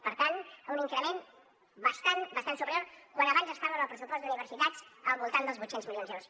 per tant un increment bastant bastant superior quan abans estava el pressupost d’universitats al voltant dels vuit cents milions d’euros